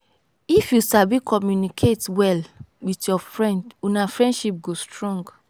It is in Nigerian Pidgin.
if you sabi communicate well with your friend una friendship go strong.